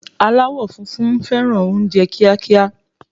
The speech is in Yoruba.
Alawọ funfun fẹràn oúnjẹ kiakia